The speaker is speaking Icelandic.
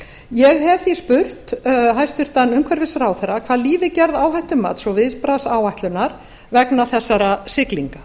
ég hef því spurt hæstvirtur umhverfisráðherra hvað líði gerð áhættumats og viðbragðsáætlunar vegna þessara siglinga